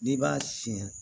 N'i b'a siyɛn